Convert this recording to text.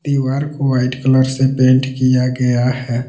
दीवार को white colour से पेंट किया गया है।